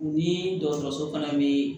U ni dɔgɔtɔrɔso fana bɛ